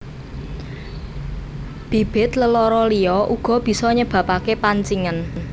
Bibit lelara liya uga bisa nyebabake pancingen